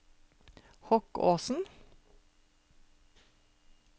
Hokkåsen